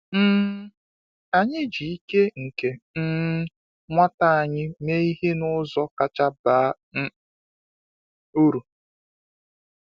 um Anyị ji ike nke um nwata anyị mee ihe n’ụzọ kacha baa uru.